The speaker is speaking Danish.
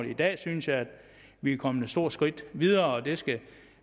i dag synes jeg at vi er kommet et stort skridt videre og det skal